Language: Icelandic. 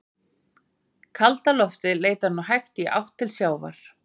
Kalda loftið leitar nú hægt í átt til sjávar.